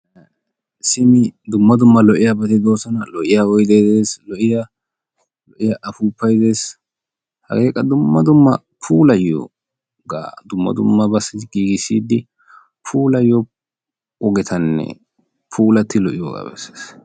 Simi dumma dumma lo"iyabato doosona, lo"iyaa oydde des, lo"iyaa appupay des, hage qa dumma dumma puulayiyooga, dumma dummabayo giigissidi puulayiyoo ogetanne puulati lo"iyooga bessees.